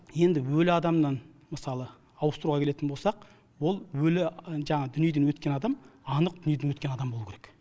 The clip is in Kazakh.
енді өлі адамнан мысалы ауыстыруға келетін болсақ ол өлі жаңағы дүниеден өткен адам анық дүниеден өткен адам болуы керек